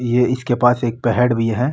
ये इसके पास एक पेड़ भी है।